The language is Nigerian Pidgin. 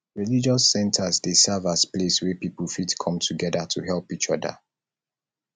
religious centres dey serve as place wey pipo fit come together to help each oda